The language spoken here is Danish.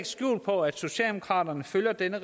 skjul på at socialdemokraterne følger denne